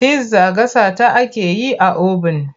Pizza gasa ta ake yi a obin.